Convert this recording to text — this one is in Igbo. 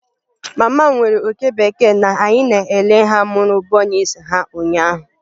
Mama m nwere oke bekee na anyị na-ele ha mụrụ bunnies ha ụnyaahụ.